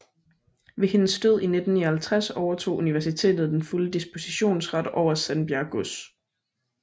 Ved hendes død i 1959 overtog universitetet den fulde dispositionsret over Sandbjerg Gods